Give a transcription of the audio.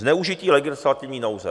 Zneužití legislativní nouze.